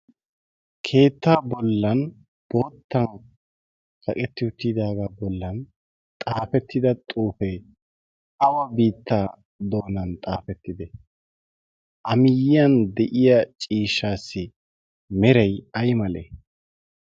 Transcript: keettaa bollan boottan kaqetti uttiidaagaa bollan xaafettida xuufee awa biittaa doonan xaafettide a miyyiyan de'iya ciishshaassi meray ay male